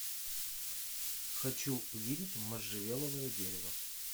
хочу видеть можжевеловое дерево